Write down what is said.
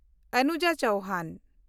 Anuja Chauhan